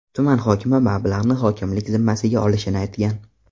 Tuman hokimi mablag‘ni hokimlik zimmasiga olishini aytgan.